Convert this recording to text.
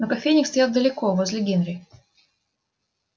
но кофейник стоял далеко возле генри